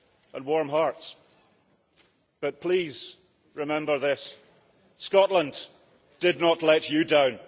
and warm hearts, but please remember this Scotland did not let you down.